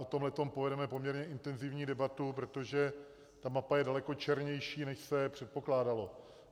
O tomto povedeme poměrně intenzivní debatu, protože ta mapa je daleko černější, než se předpokládalo.